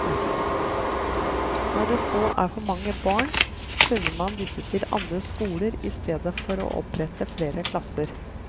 Når det så er for mange barn, sender man disse til andre skoler i stedet for å opprette flere klasser.